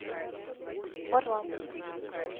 варламов